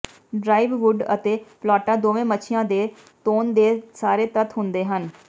ਡ੍ਰਾਈਵਵੁੱਡ ਅਤੇ ਪਲਾਟਾਂ ਦੋਵੇਂ ਮੱਛੀਆਂ ਦੇ ਤੌਣ ਦੇ ਸਾਰੇ ਤੱਤ ਹੁੰਦੇ ਹਨ